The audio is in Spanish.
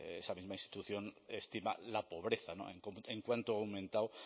esa misma institución estima la pobreza en cuánto ha aumentado